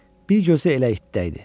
Bir gözü də elə itdə idi.